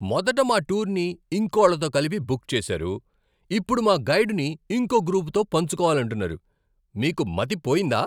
మొదట మా టూర్ని ఇంకోళ్ళతో కలిపి బుక్ చేసారు, ఇప్పుడు మా గైడుని ఇంకో గ్రూపుతో పంచుకోవాలంటున్నారు! మీకు మతి పోయిందా?